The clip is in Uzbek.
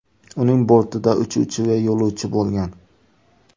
Uning bortida uchuvchi va yo‘lovchi bo‘lgan.